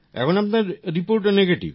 এখন আপনার রিপোর্টও নেগেটিভ